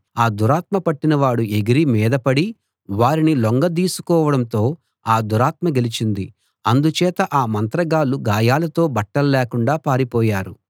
ఆ దురాత్మ పట్టినవాడు ఎగిరి మీద పడి వారిని లొంగదీసుకోవడంతో ఆ దురాత్మ గెలిచింది అందుచేత ఆ మంత్రగాళ్ళు గాయాలతో బట్టల్లేకుండా పారిపోయారు